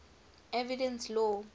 evidence law